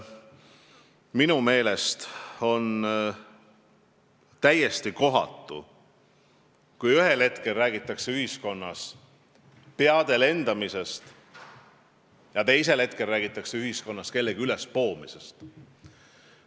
Minu meelest on täiesti kohatu, kui ühel hetkel räägitakse ühiskonnas peade lendamisest ja teisel hetkel räägitakse ühiskonnas kellegi ülespoomisest.